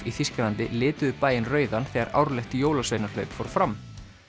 í Þýskalandi lituðu bæinn rauðan þegar árlegt jólasveinahlaup fór fram